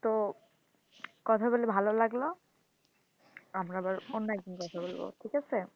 তো কথা গুলি ভালো লাগলো আমরা আবার অন্য একদিন কথা বলবো ঠিক আছে,